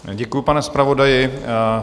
Děkuji, pane zpravodaji.